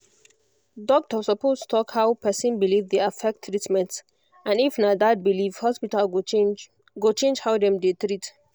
doctor suppose talk how person belief dey affect treatment and if na that belief hospital go change go change how dem dey treat